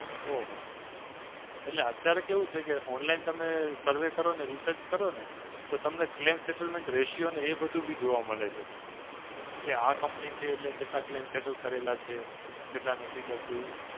ઓ હો હો. એટલે અત્યારે કેવું છે કે online તમે સર્વે કરો અને research કરો ને તો તમને Claim Settlement Ratio અને એ બધું બી જોવા મળે છે.